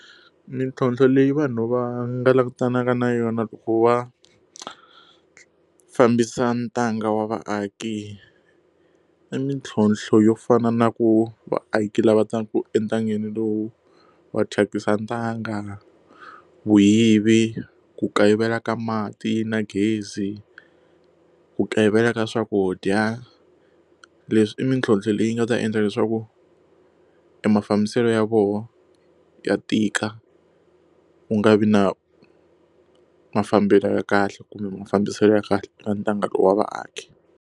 Mintlhontlho leyi vanhu va nga langutanaka na yona loko va fambisa ntanga wa vaaki i mintlhlonthlo yo fana na ku vaaki lava taka entangeni lowu wa thyakisa ntanga vuyivi ku kayivela ka mati na gezi ku kayivela ka swakudya leswi i mintlhontlho leyi nga ta endla leswaku e mafambiselo ya vona ya tika wu nga vi na mafambelo ya kahle kumbe mafambiselo ya kahle eka ntanga lowu wa vaaki.